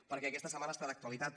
perquè aquesta setmana està d’actualitat